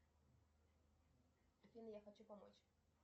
афина я хочу помочь